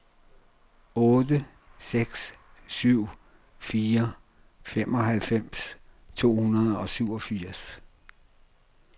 otte seks syv fire femoghalvfems to hundrede og syvogfirs